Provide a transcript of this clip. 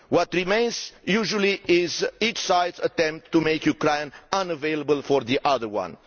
What remains, usually, is each side's attempts to make Ukraine unavailable for the other one.